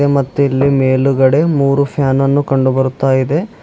ಮತ್ತು ಇಲ್ಲಿ ಮೇಲುಗಡೆ ಮೂರೂ ಫ್ಯಾನ್ ನನ್ನು ಕಂಡು ಬರುತ್ತಾ ಇದೆ.